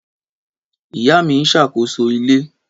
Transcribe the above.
Ìyá mi ṣàkóso ilé.